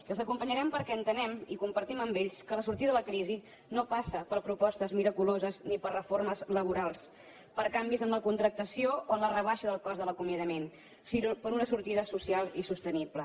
i els acompanyarem perquè entenem i compartim amb ells que la sortida de la crisi no passa per propostes miraculoses ni per reformes laborals per canvis en la contractació o en la rebaixa del cost de l’acomiadament sinó per una sortida social i sostenible